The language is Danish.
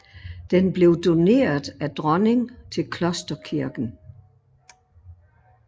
Den blev doneret af dronning til Klosterkirken